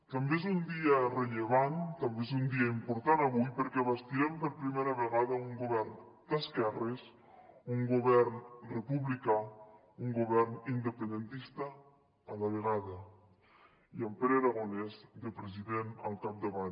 també és un dia rellevant també és un dia important avui perquè bastirem per primera vegada un govern d’esquerres un govern republicà un govern independentista a la vegada i amb pere aragonès de president al capdavant